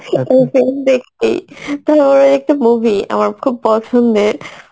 দেখতেই কিতু ওর একটা movie খুব পছন্দের